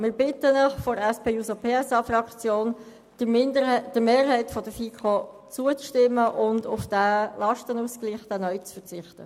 Wir bitten Sie vonseiten der SP-JUSO-PSA-Fraktion, der Mehrheit der FiKo zuzustimmen und auf den neuen Lastenausgleich zu verzichten.